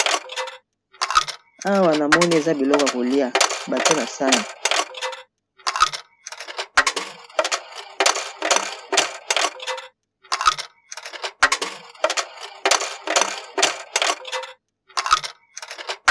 Awa namoni eza biloko yako lia batie na sani.